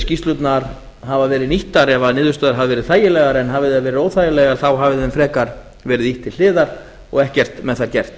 skýrslurnar hafa verið nýttar ef niðurstöður hafa verið þægilegar en hafi þær verið óþægilegar þá hafi þeim frekar verið ýtt til hliðar og ekkert með það gert